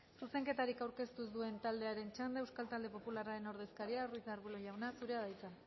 zuzenketarik aurkeztu ez duen taldearen txanda euskal talde popularraren ordezkaria ruiz de arbulo jauna zurea da hitza